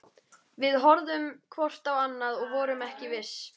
Við horfðum hvort á annað- og vorum ekki viss.